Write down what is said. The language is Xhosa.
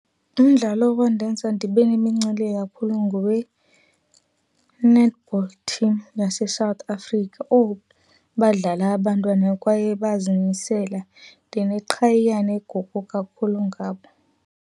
Umdlalo owandenza ndibe nemincili kakhulu ngowe-netball team yaseSouth Africa. Owu! Badlala abantwana kwaye bazimisela. Ndineqhayiya neguqu kakhulu ngabo.